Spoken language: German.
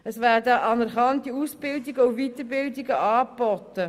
Es werden anerkannte Aus- und Weiterbildungen angeboten.